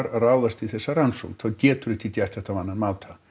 ráðast í þessa rannsókn þá geturðu ekki gert það á annan máta